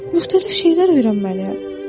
Müxtəlif şeylər öyrənməliyəm.